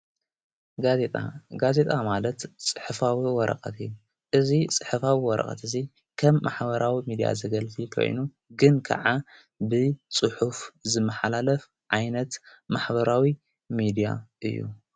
ጋዜጣ ጋዜጣ ማለት ጽሕፋዊ እዩ ረቐት እዙይ ጽሕፋዊ ወረቐት እዙይ ከም ማኅበራዊ ሚድያ ዘገልቲ ኴይኑ ግን ከዓ ብጽሑፍ ዝመኃላለፍ ዓይነት ማኅበራዊ ሚድያ እዩ።